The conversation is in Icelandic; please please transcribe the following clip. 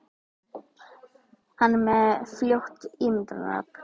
Hann er með frjótt ímyndunarafl.